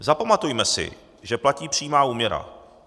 Zapamatujme si, že platí přímá úměra.